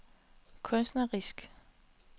kunstnerisk